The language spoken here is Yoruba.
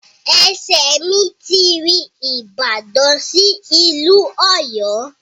Ẹsẹ̀ mi ti rin ìbàdàn sí ìlú Ọ̀yọ́.